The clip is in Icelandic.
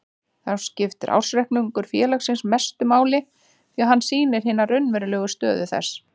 Þá skiptir ársreikningur félagsins mestu máli því að hann sýnir hina raunverulegu stöðu þess.